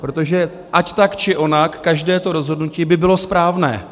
Protože ať tak či onak, každé to rozhodnutí by bylo správné.